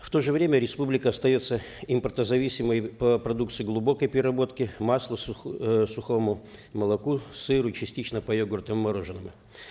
в то же время республика остается импортозависимой по продукции глубокой переработки масла эээ сухому молоку сыру частично по йогуртам и мороженому